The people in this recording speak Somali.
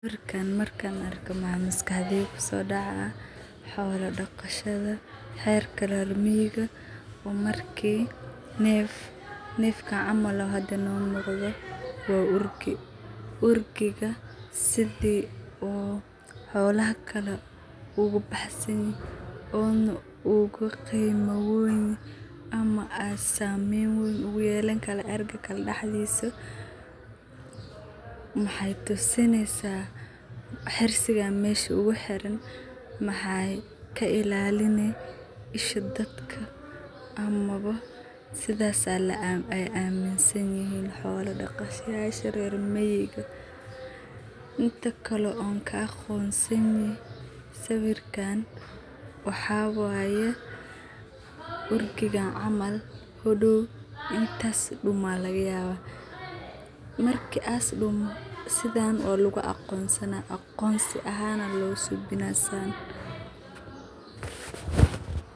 Halkan marka arko marka arko maskaxdeyda kuso dacaya xola daqashadaa halkan waxan arki haya orgi xiraiga mesha ogu xiran waxee ka ilalineysa isha dadka sithe ee dadka rer miga iman san yahay ariga hodow wudumi karaa marka intu san dumin horteeda aya aqonsi ahan logu sameya tan.